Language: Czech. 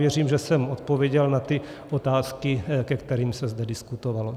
Věřím, že jsem odpověděl na ty otázky, ke kterým se zde diskutovalo.